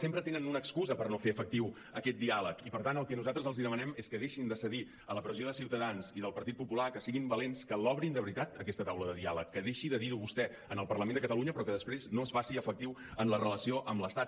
sempre tenen una ex·cusa per no fer efectiu aquest diàleg i per tant el que nosaltres els demanem és que deixin de cedir a la pressió de ciutadans i del partit popular que siguin valents que l’obrin de veritat aquesta taula de diàleg que deixi de dir·ho vostè en el parlament de catalunya però que després no es faci efectiva en la relació amb l’estat